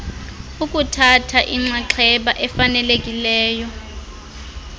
ukuthatha inxaxheba efanelekileyo